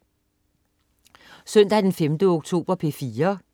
Søndag den 5. oktober - P4: